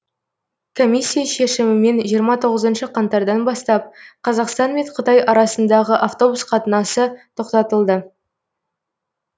комиссия шешімімен жиырма тоғызыншы қаңтардан бастап қазақстан мен қытай арасындағы автобус қатынасы тоқтатылды